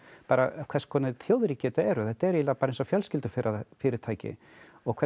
hvers konar þjóðríki þetta eru þetta eru bara eins og fjölskyldufyrirtæki og hvernig